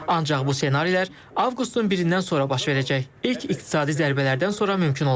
Ancaq bu ssenarilər avqustun birindən sonra baş verəcək ilk iqtisadi zərbələrdən sonra mümkün olacaq.